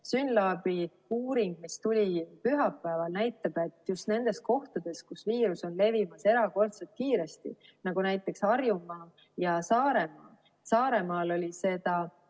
SYNLAB-i uuring, mis tuli pühapäeval, näitab, et just nendes kohtades, kus viirus on levimas erakordselt kiiresti, nagu näiteks Harjumaal ja Saaremaal,.